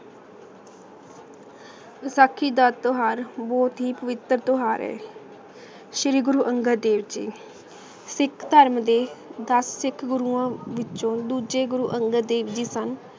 ਵਸਾਖੀ ਦਾ ਟੁਹਾਰ ਬੋਹਤ ਈ ਪਵਿਤਰ ਟੁਹਾਰ ਹੈ ਸ਼ੀਰੀ ਗੁਰੂ ਅਨ੍ਗਤ ਦੇਵ ਜੀ ਸਿਖ ਧਰਮ ਦੇ ਦਸ ਸਿਖ ਗੁਰੂ ਵਿਚੋਂ ਦੋਜਯ ਗੁਰੂ ਅਨ੍ਗਤ ਦੇਵ ਜੀ ਸਨ